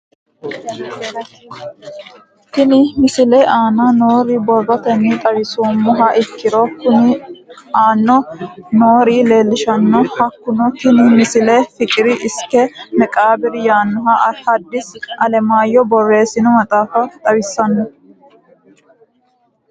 Tenne misile aana noore borrotenni xawisummoha ikirro kunni aane noore leelishano. Hakunno tinni misile fiqir isike meqaabiri yaanoha hadisi alemayehu boreessinno maxaafa xawissanno.